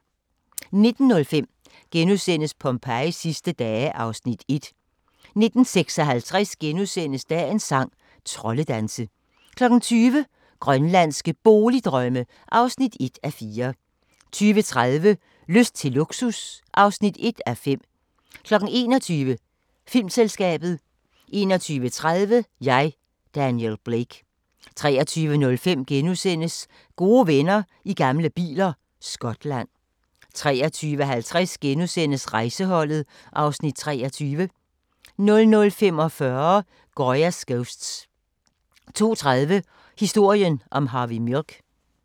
19:05: Pompejis sidste dage (Afs. 1)* 19:56: Dagens sang: Troldedanse * 20:00: Grønlandske Boligdrømme (1:4) 20:30: Lyst til luksus (1:5) 21:00: Filmselskabet 21:30: Jeg, Daniel Blake 23:05: Gode venner i gamle biler – Skotland * 23:50: Rejseholdet (Afs. 23)* 00:45: Goya's Ghosts 02:30: Historien om Harvey Milk